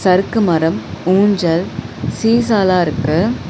சறுக்கு மரம் ஊஞ்சல் சீசாலா இருக்கு.